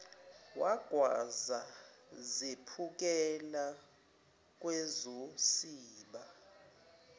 wagwaza zephukela kwezosiba